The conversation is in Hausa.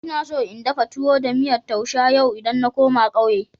Ina so in dafa towo da miyan tousha yau idan na koma ƙauye.